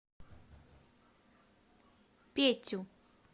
петю